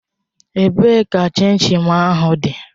Ebee ka chin chin m dị?